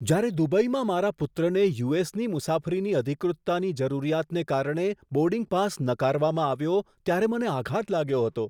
જ્યારે દુબઈમાં મારા પુત્રને યુ.એસ.ની મુસાફરીની અધિકૃતતાની જરૂરિયાતને કારણે બોર્ડિંગ પાસ નકારવામાં આવ્યો ત્યારે મને આઘાત લાગ્યો હતો.